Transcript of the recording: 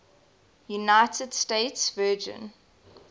united states virgin